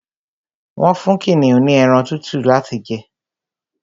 Wọ́n fún kìnìún ní ẹran tútù láti jẹ